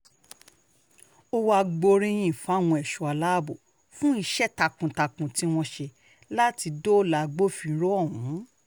ó wàá gbóríyìn fáwọn ẹ̀ṣọ́ aláàbò fún iṣẹ́ takuntakun tí wọ́n ṣe láti dóòlà gbọ̀finró ohùn